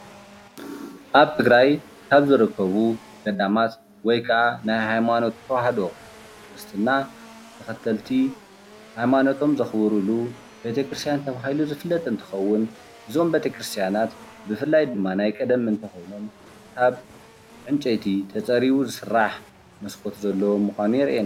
አብ ትግራይ አብ ዝርከቡ ገዳማት ወይ ከዓ ናይ ሃይማኖት ተዋህዶ ክርስትና ተኸተልቲ ሃይማኖቶም ዘኽብሩሉ ቤተክርስትያን ተባሂሉ ዝፍለጥ እንትኸውን እዞም ቤተክርስትያናት ብፍላይ ድማ ናይ ቀደም እንተኾይኖም ካብ ዕንጨይቲ ተፀሪቡ ዝስራሕ መስኮት ዘለዎ ምኻኑ የሪኢና።